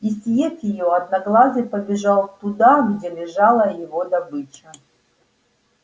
и съев её одноглазый побежал туда где лежала его добыча